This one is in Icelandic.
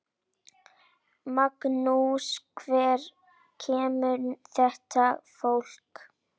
Magnús: Hvaðan kemur þetta fólk?